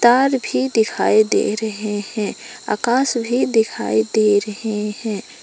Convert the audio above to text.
तार भी दिखाई दे रहे हैं आकाश भी दिखाई दे रहे हैं।